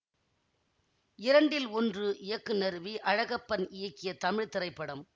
இரண்டில் ஒன்று இயக்குனர் வி அழகப்பன் இயக்கிய தமிழ் திரைப்படம்